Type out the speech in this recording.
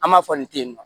An b'a fɔ nin ten yen nɔ